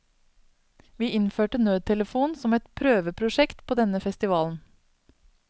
Vi innførte nødtelefon som et prøveprosjekt på denne festivalen.